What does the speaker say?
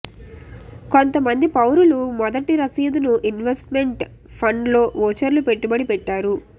కొంతమంది పౌరులు మొదటి రసీదును ఇన్వెస్ట్మెంట్ ఫండ్ లో వోచర్లు పెట్టుబడి పెట్టారు